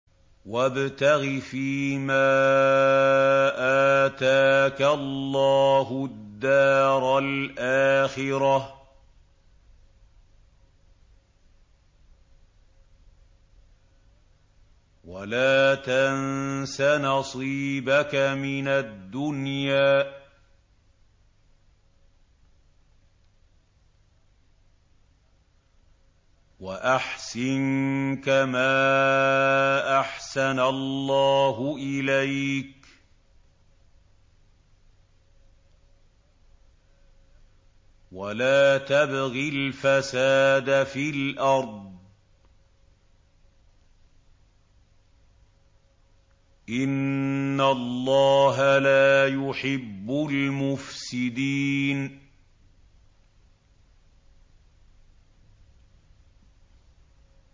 وَابْتَغِ فِيمَا آتَاكَ اللَّهُ الدَّارَ الْآخِرَةَ ۖ وَلَا تَنسَ نَصِيبَكَ مِنَ الدُّنْيَا ۖ وَأَحْسِن كَمَا أَحْسَنَ اللَّهُ إِلَيْكَ ۖ وَلَا تَبْغِ الْفَسَادَ فِي الْأَرْضِ ۖ إِنَّ اللَّهَ لَا يُحِبُّ الْمُفْسِدِينَ